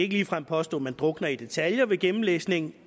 ligefrem påstå man drukner i detaljer ved gennemlæsningen